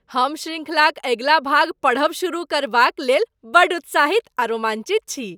हम शृंखलाक अगिला भाग पढ़ब शुरू करबाक लेल बड्ड उत्साहित आ रोमाञ्चित छी!